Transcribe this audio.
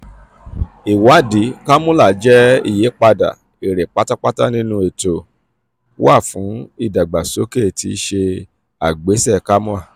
iwadii kakula jẹ iyipada ere patapata ninu eto wa fun eto wa fun idagbasoke ti ise agbese kamoa.